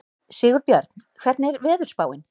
Sigurbjörn, hvernig er veðurspáin?